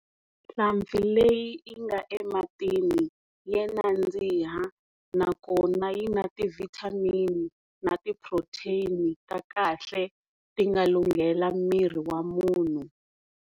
Nhlampfi leyi yi nga ematini ya nandziha nakona yi na ti-vitamin na ti-protein ta kahle ti nga lunghela miri wa munhu.